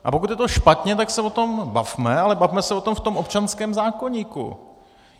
A pokud je to špatně, tak se o tom bavme, ale bavme se o tom v tom občanském zákoníku.